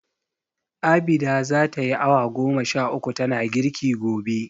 Abida za tayi awa goma sha uku tana girki gobe.